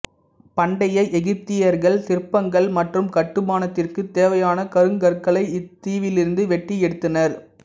பண்டைய எகிப்தியர்கள் சிற்பங்கள் மற்றும் கட்டுமானத்திற்கு தேவையான கருங்கற்களை இத்தீவிலிருந்து வெட்டி எடுத்தனர்